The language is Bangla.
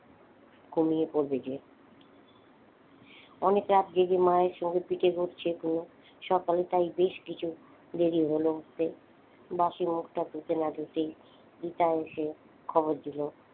ঘুমিয়ে পড়বে যে। অনেক রাত জেগে মায়েরা সঙ্গে সকালে তাই বেশকিছু দেরি হলো উঠতে বাঁশি মুখটা ধুতে না ধুতেই পিতা এসে খবর দিল